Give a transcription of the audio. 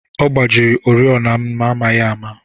Ọ gbajiri oriọna m n'amaghị ama